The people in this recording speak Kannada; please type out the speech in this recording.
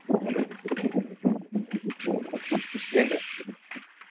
Hello ಏನ್ರೀ?